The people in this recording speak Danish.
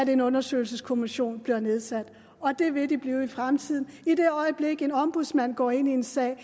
en undersøgelseskommission bliver nedsat og det vil de blive i fremtiden i det øjeblik en ombudsmand går ind i en sag